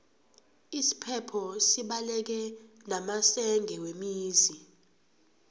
isiphepho sibaleke namasenge wemizi